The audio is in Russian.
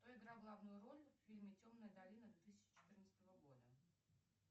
кто играл главную роль в фильме темная долина две тысячи четырнадцатого года